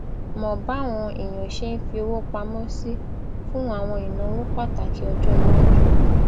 mọ báwọn èèyàn ṣe ń fi owó pamọ sí fún àwọn ìnáwó pàtàkì ọjọiwájú